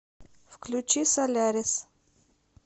включи солярис